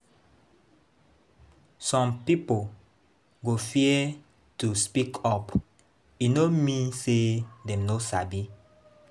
Some pipo go fear to speak up; e no mean say dem no sabi.